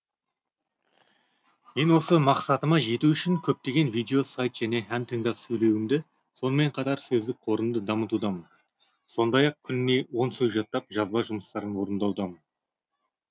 мен осы мақсатыма жету үшін көптеген видео сайт және ән тыңдап сөйлеуімді сонымен қатар сөздік қорымды дамытудамын сондай ақ күніне он сөз жаттап жазба жұмыстарын орындаудамын